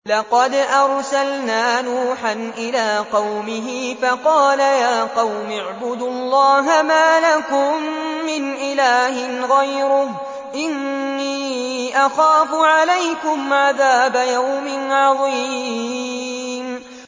لَقَدْ أَرْسَلْنَا نُوحًا إِلَىٰ قَوْمِهِ فَقَالَ يَا قَوْمِ اعْبُدُوا اللَّهَ مَا لَكُم مِّنْ إِلَٰهٍ غَيْرُهُ إِنِّي أَخَافُ عَلَيْكُمْ عَذَابَ يَوْمٍ عَظِيمٍ